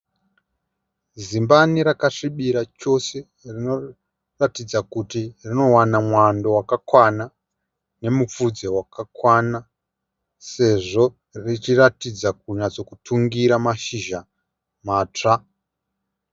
Zimbani rakasvibira chose rinoratidza kuti rinowana mwando wakakwana nemufudze wakakwana sezvo richiratidza kunyatsokutungira mashizha matsva.